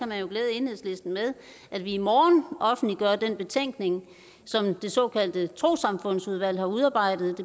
man jo glæde enhedslisten med at vi i morgen offentliggør den betænkning som det såkaldte trossamfundudvalg har udarbejdet